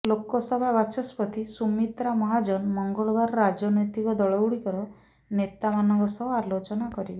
ଲୋକସଭା ବାଚସ୍ପତି ସୁମିତ୍ରା ମହାଜନ ମଙ୍ଗଳବାର ରାଜନୈତିକ ଦଳଗୁଡ଼ିକର ନେତାମାନଙ୍କ ସହ ଆଲୋଚନା କରିବେ